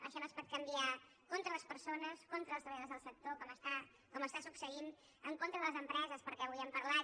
això no es pot canviar contra les persones contra els treballadors del sector com està succeint en contra de les empreses perquè avui n’hem parlat